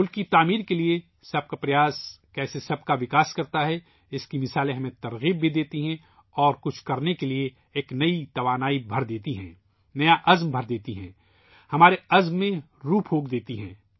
قوم کی تعمیر کے لیے ہر ایک کی کوششیں کس طرح ترقی کرتی ہیں ، اس کی مثالیں بھی ہمیں متاثر کرتی ہیں اور کچھ کرنے کے لیے نئی توانائی دیتی ہیں ، نیا اعتماد دیتی ہیں ، ہمارے عزم کو زندگی دیتی ہیں